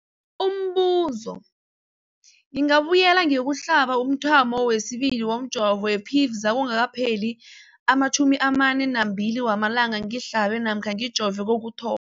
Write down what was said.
Umbuzo, ngingabuyela ngiyokuhlaba umthamo wesibili womjovo we-Pfizer kungakapheli ama-42 wamalanga ngihlabe namkha ngijove kokuthoma.